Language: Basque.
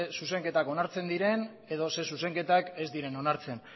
zuzenketak onartzen diren edo zein zuzenketak ez diren onartzen